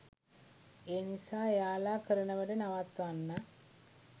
ඒ නිසා එයාලා කරන වැඩ නවත්වන්න